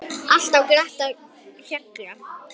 Alltaf glatt á hjalla.